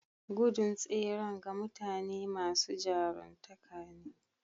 Gudun tseren ga mutane masu jaruntaka ne.